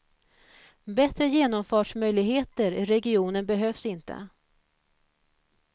Bättre genomfartsmöjligheter i regionen behövs inte.